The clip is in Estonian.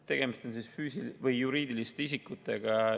Tegemist on juriidiliste isikutega.